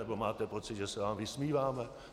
Nebo máte pocit, že se vám vysmíváme?